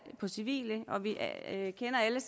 på civile og vi kender alle